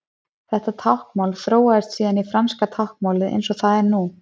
Þetta táknmál þróaðist síðan í franska táknmálið eins og það er nú.